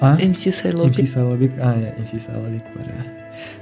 а мс сайлаубек мс сайлаубек а иә мс сайлаубек бар иә